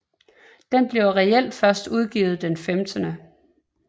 Den bliver reelt først udgivet den 15